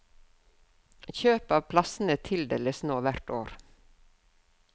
Kjøp av plassene tildeles nå hvert år.